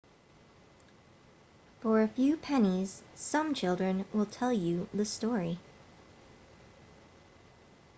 for a few pennies some children will tell you the story